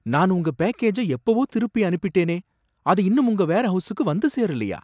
நான் உங்க பேக்கேஜ எப்பவோ திருப்பி அனுப்பிட்டேனே, அது இன்னும் உங்க வேர்ஹவுஸுக்கு வந்து சேரலயா?